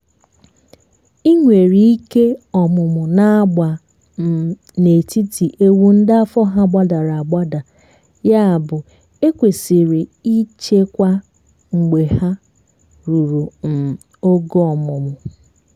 ị nwere ike ọmụmụ na-agba um n'etiti ewu ndị afọ hà gbadara agbada ya bụ e kwesiri i cheekwa mgbè hà ruru um ogo ọmụmụ